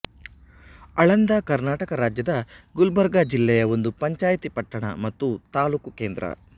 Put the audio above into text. ಆಳಂದ ಕರ್ನಾಟಕ ರಾಜ್ಯದ ಗುಲ್ಬರ್ಗ ಜಿಲ್ಲೆಯ ಒಂದು ಪಂಚಾಯತಿ ಪಟ್ಟಣ ಮತ್ತು ತಾಲೂಕು ಕೇಂದ್ರ